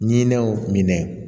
Ɲininiw minɛ